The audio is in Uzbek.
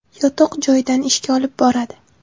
Yotoq joyidan ishga olib boradi.